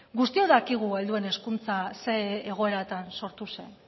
guztiok dakigu helduen hezkuntza zein egoeratan sortu zen